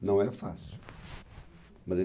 Não é fácil. Mas ele